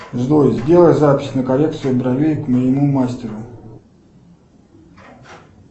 джой сделай запись на коррекцию бровей к моему мастеру